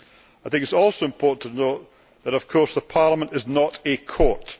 I think it is also important to note that, of course, Parliament is not a court.